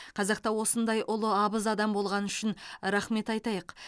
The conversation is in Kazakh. қазақта осындай ұлы абыз адам болғаны үшін рахмет айтайық